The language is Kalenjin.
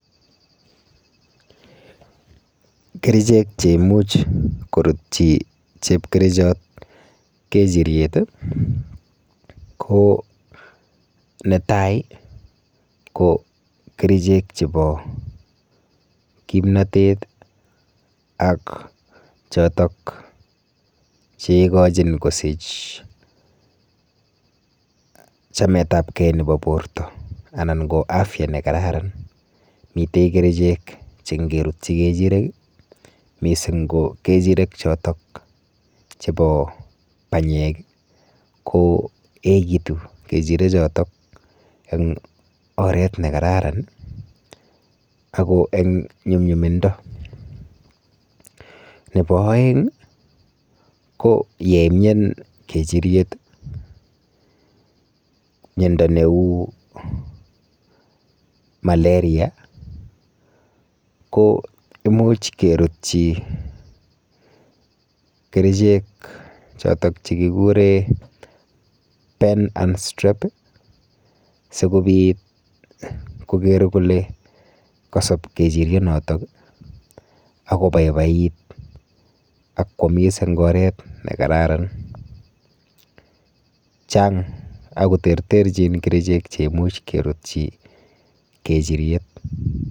Kerichek cheimuch korutyi chepkerichot kechiryet ko ,netai ko kerichek chebo kimnatet ak choton cheikachin kosich chametabken nebo borta ak afya nekararan, mitei kerichek che ingerutyi kechiryet mising ko kechirek choton chebo banyek ko ekitun kechirek choton eng oret nekararan ako eng nyumnyumindo, nebo aeng ko yemnyan kechiryet mnyando neu malaria ko imuch kerutyi kerichek choton chekikeren penakstrap sikobit koger kole kasob kechirek choton akobaibait ak kwamis eng oret nekararan, Chang ako terterchin kerichek cheimuch kerutyi kechiryet.